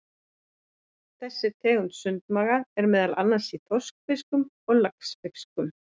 Þessi tegund sundmaga er meðal annars í þorskfiskum og laxfiskum.